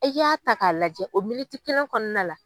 E y'a ta k'a lajɛ o militi kelen kɔnɔna la